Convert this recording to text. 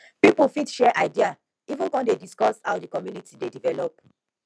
pipo fit share idea even con dey discuss how di community dey develop